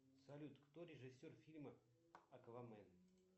салют кто режиссер фильма аквамен